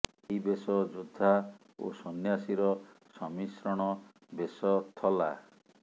ଏହି ବେଶ ଯୋଦ୍ଧା ଓ ସନ୍ନ୍ୟାସୀର ସମ୍ମିଶ୍ରଣ ବେଶ ଥଲା